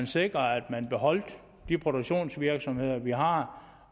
sikre at man beholder de produktionsvirksomheder vi har